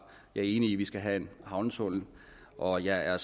jeg er enig i at vi skal have en havnetunnel og jeg er